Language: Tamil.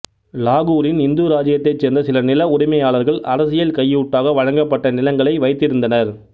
லாகூரின் இந்து இராச்சியத்தைச் சேர்ந்த சில நில உரிமையாளர்கள் அரசியல் கையூட்டாக வழங்கப்பட்ட நிலங்களை வைத்திருந்தனர்